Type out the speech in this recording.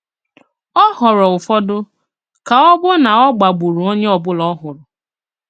Ọ̀ họ̀ọrọ ụfọdụ, ka ọ̀ bụ ná ọ̀gbà gbùrù onye ọ̀bụ̀la ọ̀hụrụ